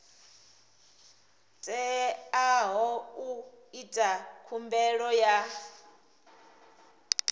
teaho u ita khumbelo ya